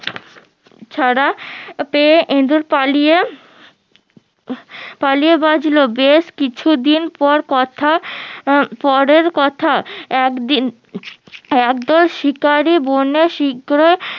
ছাড়া পেয়ে ইঁদুর পালিয়ে আহ পালিয়ে বাঁচলো বেশ কিছুদিন পর কথা আহ পরের কথা একদিন একদল শিকারী বনে শিকরে